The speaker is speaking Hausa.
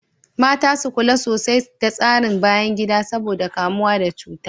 Mata su kula sosai da tsarin bayan gida saboda kamuwa da cuta.